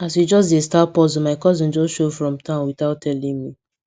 as we just dey start puzzle my cousin just show from town without telling me